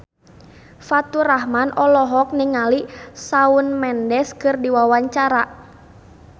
Faturrahman olohok ningali Shawn Mendes keur diwawancara